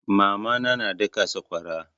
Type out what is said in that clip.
Mama na na daka sakwara.